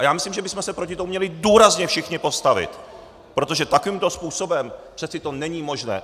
A já myslím, že bychom se proti tomu měli důrazně všichni postavit, protože takovýmto způsobem přeci to není možné.